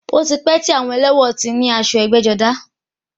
Ó ti pẹ́ tí àwọn ẹlẹ́wọ̀n ti ní aṣọ ẹgbẹ́-jọdá.